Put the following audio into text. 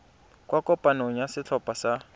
kwa kopanong ya setlhopha sa